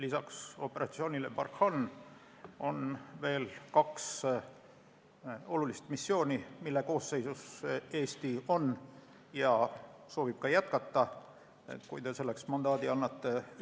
Peale operatsiooni Barkhane on veel kaks olulist missiooni, mille koosseisus Eesti on ja soovib ka jätkata, kui te selleks mandaadi annate.